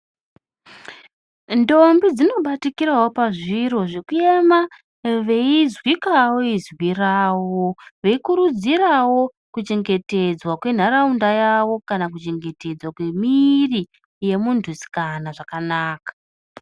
Ntombi dzinobatikirawo pazviro zvekuema veizwikawo izwi ravo veikurudzirawo kuchengetedzwa kwenharaunda yavo kana kuchengetedzwa kwemwiiri yemuntusikana zvakanaka.